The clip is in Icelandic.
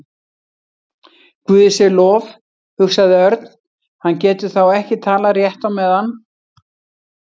Guði sé lof, hugsaði Örn, hann getur þá ekki talað rétt á meðan.